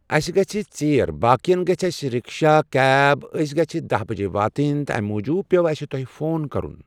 اَسہِ گژھِ ژیٖرۍ بٲقٮ۪ن گژھِ اَسہِ رِکشا، کیب. أسۍ گٔژھۍ دہہِ بَجہِ واتٕنۍ تہٕ اَمہِ موٗجوٗب پیوٚو اَسہِ تۄہہِ فون کَرُن